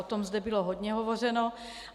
O tom zde bylo hodně hovořeno.